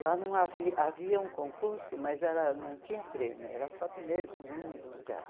Lá não havia havia um concurso, mas era não tinha prêmio, era só primeiro e segundo lugar.